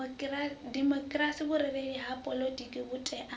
demokhirasi vhurereli ha poḽotiki vhutea